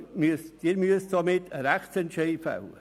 Sie müssen somit Rechtsentscheide fällen.